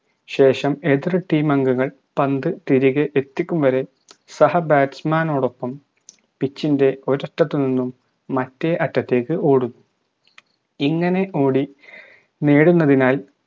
ശേഷം എതിർ team അംഗങ്ങൾ പന്ത് തിരികെ എത്തിക്കും വരെ സഹ batsman നോടൊപ്പം pitch ൻറെ ഒരറ്റത്തുനിന്നും മറ്റേ അറ്റത്തേക്ക് ഓടും ഇങ്ങനെ ഓടി നേടുന്നതിനായി